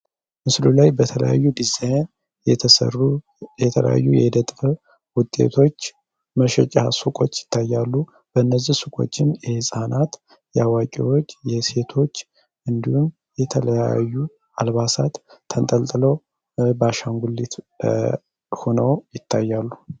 በተለያዩ ዲዛይን የተሰሩ የተለያዩ ውጤቶች መሸጫ ሱቆች ይታያሉ በእነቆችን የህፃናት አዋቂዎች የሴቶች እንዲሁም የተለያዩ አልባሳት ተንትኖ ባንኩሌቱ ነው ይታያሉ